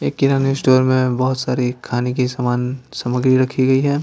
एक किराने स्टोर में बहुत सारी खाने की सामान सामग्री रखी गई है।